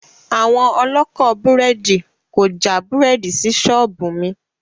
Àwọn ọlọ́kọ̀ búrẹ́dì kò já búrẹ́dì sí ṣọ́ọ̀bù mi